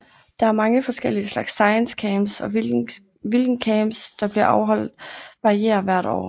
Der er mange forskellige slags ScienceCamps og hvilken camps der bliver afholdt varierer hvert år